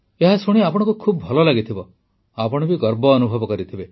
ଏହା ଶୁଣି ଆପଣଙ୍କୁ ଖୁବ ଭଲ ଲାଗିଥିବ ଆପଣ ବି ଗର୍ବ ଅନୁଭବ କରିଥିବେ